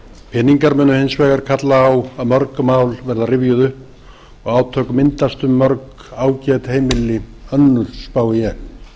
peningar munu hins vegar kalla á að mörg mál verða rifjuð upp og átök myndast um mörg ágæt heimili önnur spái ég